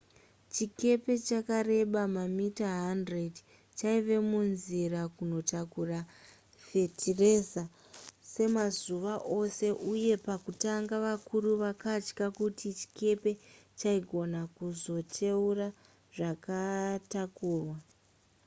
chikepe chakareba mamita 100 chaiva munzira kunotakura fetiraiza semazuva ose uye pakutanga vakuru vakatya kuti chikepe chaigona kuzoteura zvakatakurwa